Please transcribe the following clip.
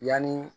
Yanni